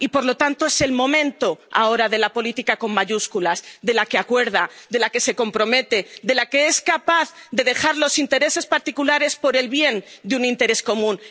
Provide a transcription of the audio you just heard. Y, por lo tanto, es el momento ahora de la política con mayúsculas, de la que acuerda, de la que se compromete, de la que es capaz de dejar los intereses particulares por el bien de un interés común.